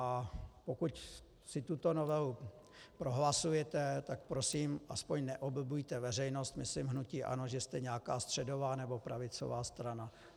A pokud si tuto novelu prohlasujete, tak prosím aspoň neoblbujte veřejnost, myslím hnutí ANO, že jste nějaká středová nebo pravicová strana.